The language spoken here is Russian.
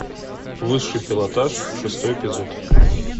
высший пилотаж шестой эпизод